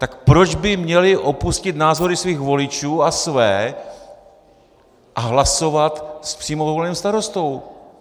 Tak proč by měli opustit názory svých voličů a své a hlasovat s přímo voleným starostou?